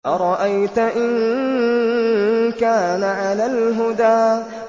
أَرَأَيْتَ إِن كَانَ عَلَى الْهُدَىٰ